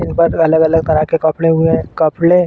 इन पर अलग-अलग तरह के कपड़े हुए हैं। कपड़े --